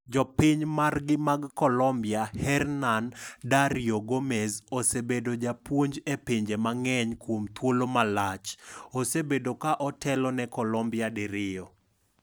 Jopiny margi mag Colombia, Hernan Dario Gomez, osebedo japuonj e pinje mang'eny kuom thuolo malach, osebedo ka otelo ne Colombia diriyo.